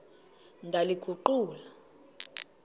ndaliguqula